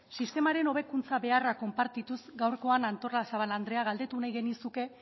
sistemaren hobekuntza beharra konpartituz gaurkoan artolazabal andrea galdetu nahi genizuke